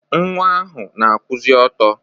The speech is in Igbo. Nwa ahụ na-akwụzị ọtọ.